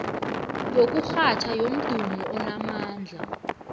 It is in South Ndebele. yokurhatjha yomdumo onamandla